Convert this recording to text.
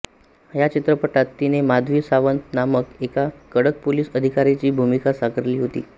या चित्रपटात तिने माधवी सावंत नामक एका कडक पोलीस अधिकारीची भूमिका साकारली होती